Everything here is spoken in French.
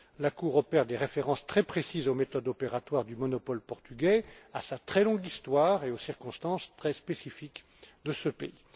La Cour présente des références très précises aux méthodes opératoires du monopole portugais, à sa très longue histoire et aux circonstances très spécifiques de ce pays.